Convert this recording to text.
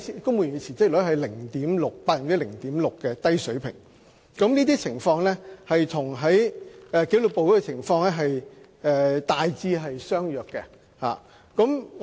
公務員辭職率處於約 0.6% 的低水平，這個情況與紀律部隊的情況大致相若。